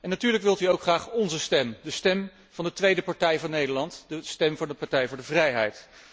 Natuurlijk wilt u ook graag onze stem, de stem van de tweede partij van Nederland, de Partij voor de Vrijheid.